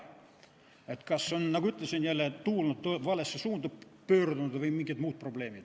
Ma ei tea, kas on, nagu ma ütlesin, tuul valesse suunda pööranud või on mingid muud probleemid.